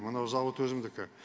мына зауыт өзімдікі